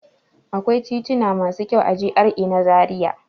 Akwai tituna masu kyau a GRA na Zariya.